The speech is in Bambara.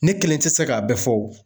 Ne kelen tɛ se k'a bɛɛ fɔ o